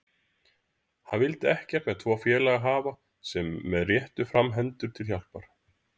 Hann vildi ekkert með tvo félaga hafa sem réttu fram hendur til hjálpar.